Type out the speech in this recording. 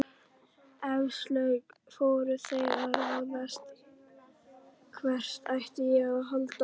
Eflaust voru þeir að ráðslaga hvert ætti að halda.